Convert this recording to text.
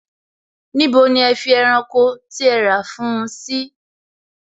Níbo ni ẹ fi ẹranko tí ẹ rà fún un sí?